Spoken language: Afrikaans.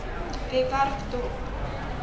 webwerf dop